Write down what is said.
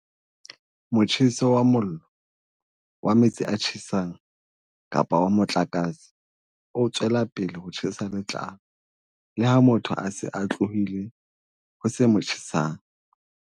"Motjheso wa mollo, wa metsi a tjhesang kapa wa motlakase o tswela pele ho tjhesa letlalo leha motho a se a tlohile ho se mo tjhesang."